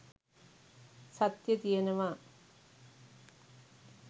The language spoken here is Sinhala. සත්‍යය තියනවා.